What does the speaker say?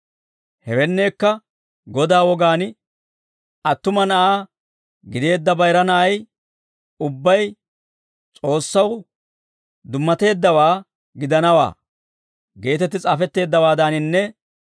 Hewenneekka Godaa wogaan, «Attuma na'aa gideedda bayira na'ay ubbay S'oossaw dummateeddawaa gidanawaa» geetetti s'aafetteeddawaadaaninne,